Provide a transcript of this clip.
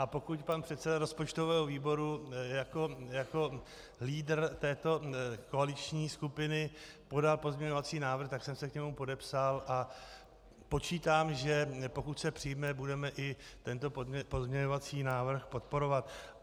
A pokud pan předseda rozpočtového výboru jako lídr této koaliční skupiny podal pozměňovací návrh, tak jsem se k němu podepsal, a počítám, že pokud se přijme, budeme i tento pozměňovací návrh podporovat.